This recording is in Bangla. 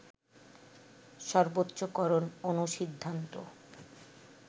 সর্বোচ্চকরণ অনুসিদ্ধান্ত